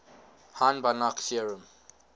hahn banach theorem